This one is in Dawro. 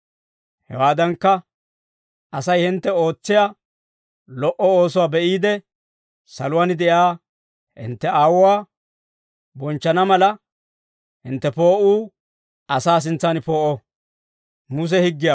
Hewaadankka, Asay hintte ootsiyaa lo"o oosuwaa be'iide, saluwaan de'iyaa hintte Aawuwaa bonchchana mala, hintte poo'uu asaa sintsaan poo'o.